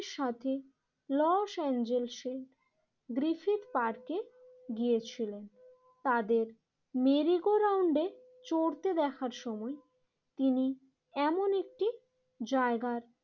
সাথে Los Angeles এর Griffith পার্কে গিয়েছিলেন। তাদের মেরিগো রাউন্ডে চড়তে দেখার সময় তিনি এমন একটি জায়গার